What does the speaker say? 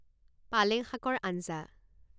পালেং শাকৰ আঞ্জা